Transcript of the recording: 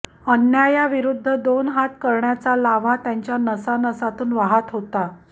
अन्यायाविरुद्ध दोन हात करण्याचा लाव्हा त्यांच्या नसानसातून वाहत होता